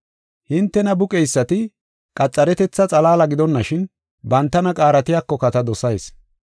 Hintena buqeysati qaxaretetha xalaala gidonashin, bantana qaaratiyakoka ta dosayis.